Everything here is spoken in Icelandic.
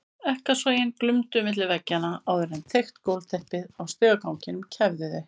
Ekkasogin glumdu milli veggjanna áður en þykkt gólfteppið á stigaganginum kæfði þau.